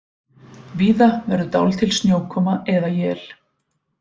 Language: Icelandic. Víða verður dálítil snjókoma eða él